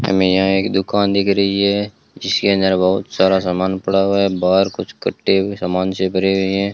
हमें यहां एक दुकान दिख रही है जिसके अंदर बहुत सारा समान पड़ा हुआ है बाहर कुछ कट्टे भी समान से भरे हुए हैं।